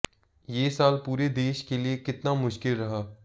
ये साल पूरे देश के लिए कितना मुश्किल रहा